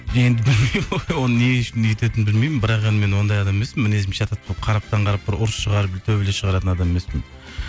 енді оны не үшін өйтетінін білмеймін бірақ енді мен ондай адам емеспін мінезім шатақ болып қараптан қарап бір ұрыс шығарып бір төбелес шығаратын адам емеспін